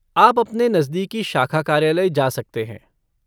आप अपने नज़दीकी शाखा कार्यालय जा सकते हैं।